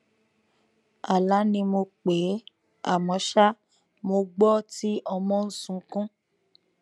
ala ni mo pe e amọ ṣa mo gbọ ti ọmọ n sunkun